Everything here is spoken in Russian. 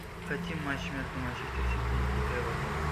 хотим матч между манчестер сити и эвертоном